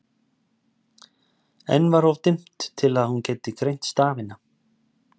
Enn var of dimmt til þess að hún gæti greint stafina.